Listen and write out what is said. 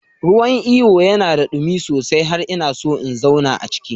Ruwan iyo yana da ɗumi sosai har ina so in zauna a ciki.